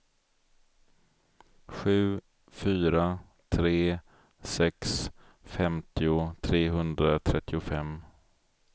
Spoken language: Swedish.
sju fyra tre sex femtio trehundratrettiofem